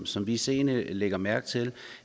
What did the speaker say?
som vi seende lægger mærke til